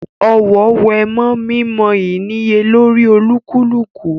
Ọ̀wọ̀ wé mọ́ mímọ ìníyelórí olúkúlùkù